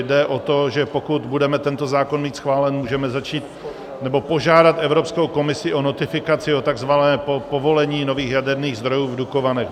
Jde o to, že pokud budeme tento zákon mít schválený, můžeme začít, nebo požádat Evropskou komisi o notifikaci, o tzv. povolení nových jaderných zdrojů v Dukovanech.